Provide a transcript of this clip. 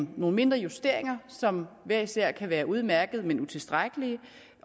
nogle mindre justeringer som hver især kan være udmærkede men utilstrækkelige